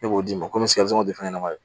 E b'o d'i ma komi fɛn ɲɛnama